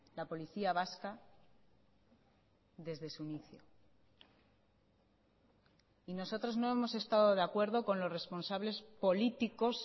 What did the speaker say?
la policía vasca desde su inicio y nosotros no hemos estado de acuerdo con los responsables políticos